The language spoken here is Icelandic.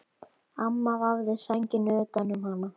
Amma vafði sænginni utan um hana.